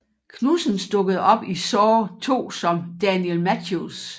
Knudsens dukkede op i Saw II som Daniel Matthews